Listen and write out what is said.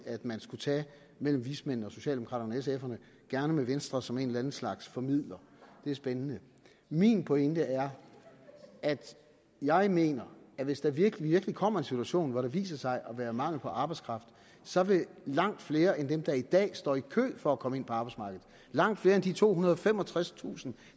man skulle tage mellem vismændene og socialdemokraterne og sf’erne gerne med venstre som en eller anden slags formidler det er spændende min pointe er at jeg mener at hvis der virkelig kommer en situation hvor der viser sig at være mangel på arbejdskraft så vil langt flere end dem der i dag står i kø for at komme ind på arbejdsmarkedet langt flere end de tohundrede og femogtredstusind